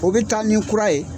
u bi taa ni kura ye.